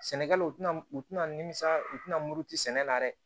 Sɛnɛkɛlaw tɛna u tɛna nimisira u tɛna muruti sɛnɛ la dɛ